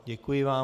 Děkuji vám.